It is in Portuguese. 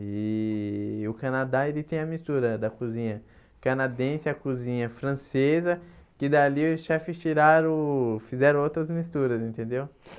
E o Canadá, ele tem a mistura da cozinha canadense e a cozinha francesa, que dali os chefes tiraram fizeram outras misturas, entendeu?